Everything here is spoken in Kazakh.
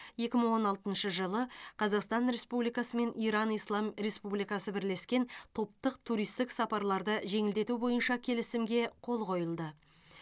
екі мың он алтыншы жылы қазақстан республикасы мен иран ислам республикасы бірлескен топтық туристік сапарларды жеңілдету бойынша келісімге қол қойылды